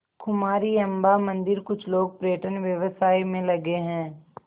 कुमारी अम्मा मंदिरकुछ लोग पर्यटन व्यवसाय में लगे हैं